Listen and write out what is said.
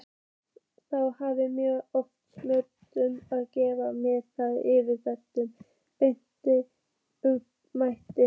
Þá hafa mörg orðasambönd með gervifrumlaginu það yfirbragð beinna ummæla